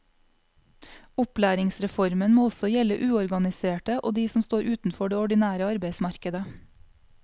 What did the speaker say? Opplæringsreformen må også gjelde uorganiserte og de som står utenfor det ordinære arbeidsmarkedet.